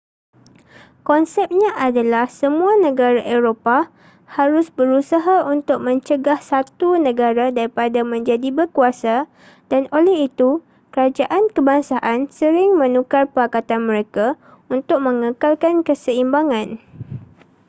konsepnya adalah semua negara eropah harus berusaha untuk mencegah satu negara daripada menjadi berkuasa dan oleh itu kerajaan kebangsaan sering menukar pakatan mereka untuk mengekalkan keseimbangan